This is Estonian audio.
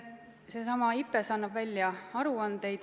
Seesama IPBES annab välja aruandeid.